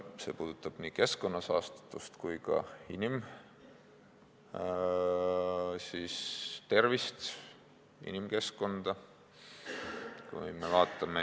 See puudutab nii keskkonna saastatust kui ka inimkeskkonda.